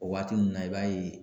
O waati nunnu na, i b'a ye.